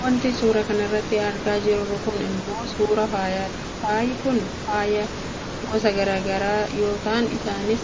Wanti suuraa kanarratti argaa jirru kun ammoo suuraa faayati. Faayi kun faaya go's gara gara yoo ta'an isaanis